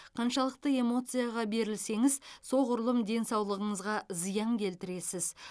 қаншалықты эмоцияға берілсеңіз соғұрлым денсаулығыңызға зиян келтіресіз